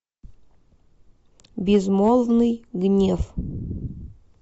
безмолвный гнев